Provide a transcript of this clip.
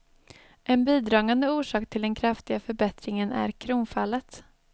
En bidragande orsak till den kraftiga förbättringen är kronfallet.